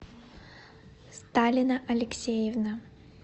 сталина алексеевна